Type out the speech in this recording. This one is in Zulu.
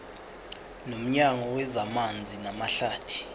nomnyango wezamanzi namahlathi